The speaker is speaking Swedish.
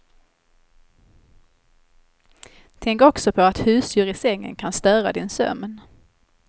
Tänk också på att husdjur i sängen kan störa din sömn.